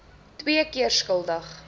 twee keer skuldig